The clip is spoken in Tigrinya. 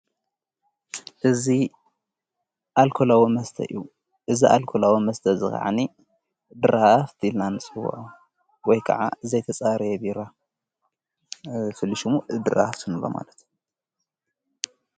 እዝ ኣኮላዎ መስተ እዩ እዝ ኣልኮላዎ መስተ ዝኽዓኒ ድራሃፍቲ ዲላንስወ ወይ ከዓ ዘይተፃርየ ብራ ፍሊሹሙ ድራሃፍትምበ ማለት እዩ።